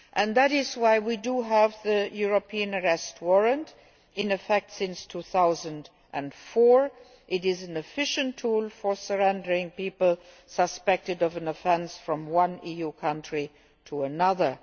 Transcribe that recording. That is why we have the European Arrest Warrant in effect since 2004. It is an efficient tool for surrendering people suspected of an offence from one EU country to another.